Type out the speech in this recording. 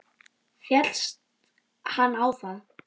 Féllst hann á það.